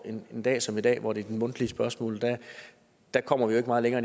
at en dag som i dag hvor det mundtlige spørgsmål kommer vi ikke meget længere